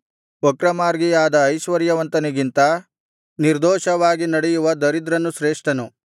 ವಕ್ರಮಾರ್ಗಿಯಾದ ಐಶ್ವರ್ಯವಂತನಿಗಿಂತ ನಿರ್ದೋಷವಾಗಿ ನಡೆಯುವ ದರಿದ್ರನು ಶ್ರೇಷ್ಠನು